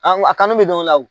Anw a kanu bɛ don a law.